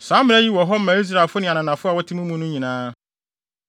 Saa mmara yi wɔ hɔ ma Israelfo ne ananafo a wɔte mo mu no nyinaa.